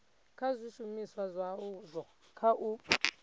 kha zwishumiswa zwazwo kha u